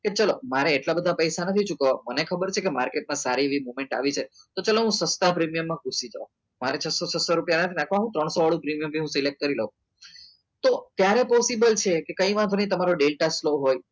કે ચાલો મારે એટલા બધા પૈસા નથી ચૂકવવાના મને ખબર છે કે માર્કેટમાં સારી movement આવી છે તો ચાલો હું સસ્તા પ્રીમિયમમાં ઘૂસી જાવ મારે છ્સો છસો નાખવો હોય તો ત્રણસો વાળું પ્રીમિયમ select કરી દઉં તો ત્યારે હું possible છે કે ઘણી વાંધો નહીં તમારો ડેટા સુલો હોય slow હોય